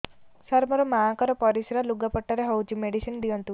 ସାର ମୋର ମାଆଙ୍କର ପରିସ୍ରା ଲୁଗାପଟା ରେ ହଉଚି ମେଡିସିନ ଦିଅନ୍ତୁ